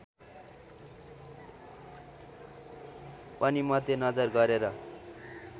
पनि मध्यनजर गरेर